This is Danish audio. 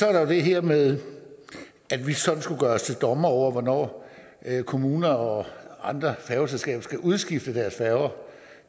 er der det her med at vi sådan skulle gøre os til dommer over hvornår kommuner og andre færgeselskaber skal udskifte deres færger